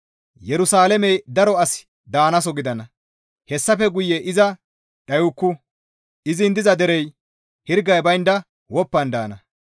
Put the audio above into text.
Yerusalaamey daro asi daanaso gidana; hessafe guye iza dhayukku; izin diza derey hirgay baynda woppan daana.